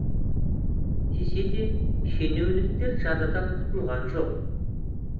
десе де шенеуніктер жазадан құтылған жоқ